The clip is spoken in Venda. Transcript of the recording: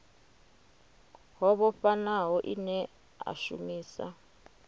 ho vhofhanaho ine a shumisa